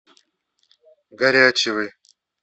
горячевой